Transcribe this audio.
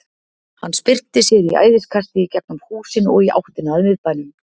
Hann spyrnti sér í æðiskasti í gegnum húsin og í áttina að miðbænum.